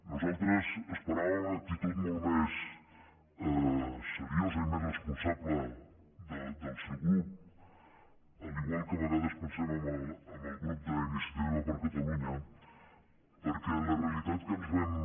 nosaltres esperàvem una actitud molt més seriosa i més responsable del seu grup igual que a vegades pen·sem en el grup d’iniciativa per catalunya perquè la realitat que ens vam